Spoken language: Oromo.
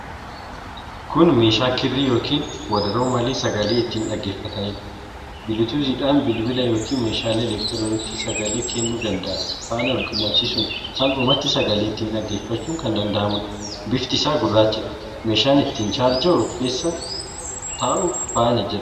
Kun meeshaa kirrii yookiin wadaroo malee sagalee itti dhaggeefatanidha. Biluutuuzidhaan bilbila yookiin meeshaalee electrooniksii sagalee keennuu danda'an faana walqunnamsiisuun salphumatti sagalee ittiin dhaggeefachuun kan danda'amudha. Bifti isaa gurraachadha. Meeshaa ittiin chaarja'uu fii keessa taa'uu faana jira.